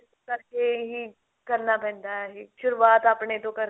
ਕਰਕੇ ਹੀ ਕਰਨਾ ਪੈਂਦਾ ਇਹ ਸ਼ੁਰੁਆਤ ਆਪਣੇ ਤੋਂ ਕਰਕੇ